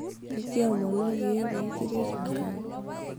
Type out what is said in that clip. ekiomonoki iyie pee kiret Enkai